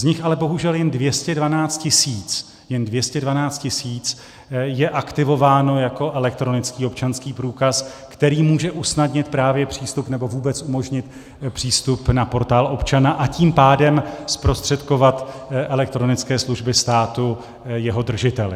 Z nich ale bohužel jen 212 tisíc je aktivováno jako elektronický občanský průkaz, který může usnadnit právě přístup nebo vůbec umožnit přístup na Portál občana, a tím pádem zprostředkovat elektronické služby státu jeho držiteli.